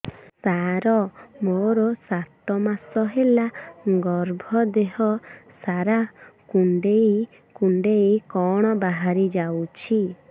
ସାର ମୋର ସାତ ମାସ ହେଲା ଗର୍ଭ ଦେହ ସାରା କୁଂଡେଇ କୁଂଡେଇ କଣ ବାହାରି ଯାଉଛି